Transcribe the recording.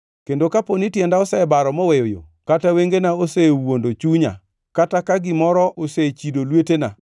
kendo kapo ni tienda osebaro moweyo yo, kata wengena osewuondo chunya, kata ka gimoro osechido lwetena,